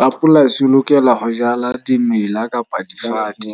Rapolasi o lokela ho jala dimela kapa difate.